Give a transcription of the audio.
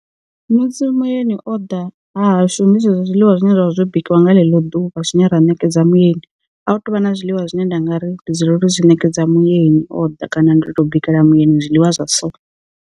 Musi muyeni o ḓa ha hashu ndi zwezwo zwiḽiwa zwine zwavha zwo bikiwa nga ḽeḽo ḓuvha zwine ra ṋekedza muyeni, a hu tuvha na zwiḽiwa zwine nda nga ri ndi dzulela uri zwi ṋekedza muyeni o ḓa kana ndo to bikela muyeni zwiḽiwa zwa so.